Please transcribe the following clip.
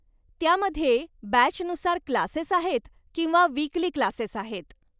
त्यामध्ये बॅचनुसार क्लासेस आहेत किंवा विकली क्लासेस आहेत.